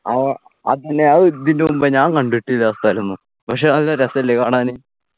ആ അതെന്നെ അത് ഇതിന് മുമ്പെ ഞാൻ കണ്ടിട്ടില്ല ആ സ്ഥലം ഒന്നും പക്ഷെ നല്ല രസല്ലേ കാണാന്